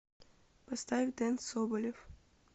поставь дэн соболев